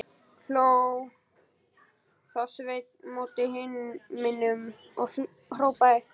Hló þá Sveinn mót himninum og hrópaði: